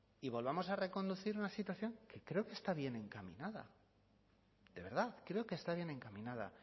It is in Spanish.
y volvamos a reconducir una situación que creo que está bien encaminada de verdad creo que está bien encaminada